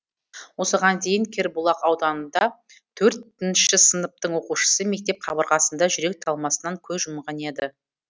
осыған дейін кербұлақ ауданында төрт інші сыныптың оқушысы мектеп қабырғасында жүрек талмасынан көз жұмған еді